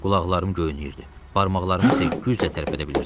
Qulaqlarım göynüyürdü, barmaqlarımı isə güclə tərpədə bilirdim.